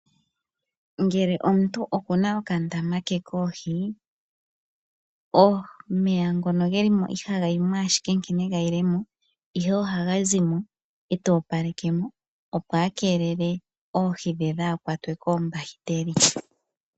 Ngele omuntu okuna okandama ke koohi omeya ngoka gelimo ihaga yimo ashike nkene gayi lemo ihe ohaga zimo eeta opalekemo opo akelele oohi dhe dhaakwatwe koombakiteli.